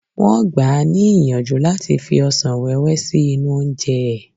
Wọ́n gbà á ní ìyànjú láti fi ọsàn wẹ́wẹ́ sí inú oúnjẹ ẹ.